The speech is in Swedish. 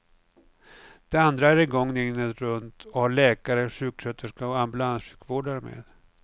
Den andra är i gång dygnet runt och har läkare, sjuksköterska och ambulanssjukvårdare med.